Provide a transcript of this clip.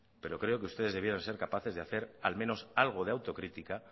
pero creo que ustedes deberían ser capaces de hacer al menos algo de autocrítica